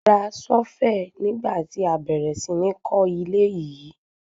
A ra ṣọ́fẹ̀ nígbà tí a bẹ̀rẹ̀ sí ní kó ilé yìí.